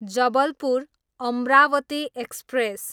Jabalpur, Amravati express